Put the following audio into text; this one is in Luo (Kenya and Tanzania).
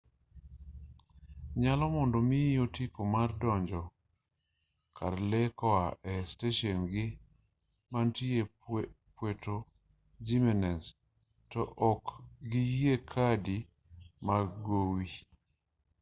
nyalore mondo omiyi otiko mar donjo kar lee koa e steshen-gii mantie puerto jimenez to ok giyie kadi mag gowi